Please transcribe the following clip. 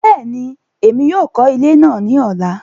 Bẹẹni, Èmí yóò kọ ilé náà ní ọla